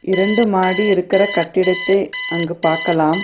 இரண்டு மாடி இருக்கிற கட்டிடத்தை அங்கு பாக்கலாம்.